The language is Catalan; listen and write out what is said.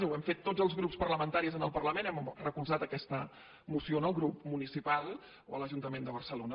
ho hem fet tots els grups parlamentaris en el parlament hem recolzat aquesta moció en el grup municipal a l’ajuntament de barcelona